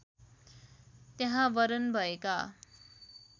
त्यहाँ वरण भएका